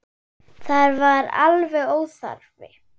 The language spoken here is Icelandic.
Það var alveg óþarfi.